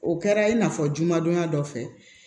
O kɛra i n'a fɔ jumadonya dɔ fɛ